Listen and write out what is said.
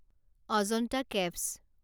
Ajanta caves